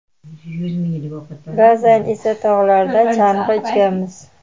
ba’zan esa tog‘larda chang‘i uchganmiz.